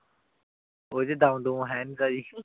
ਕੁਜ ਦਮ ਦੁਮ ਹੈ ਨਾਈ ਤਾਂ